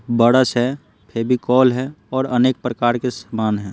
बड़स है फेविकॉल है और अनेक प्रकार के सामान हैं।